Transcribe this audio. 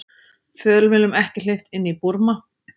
Fjölmiðlum ekki hleypt inn í Búrma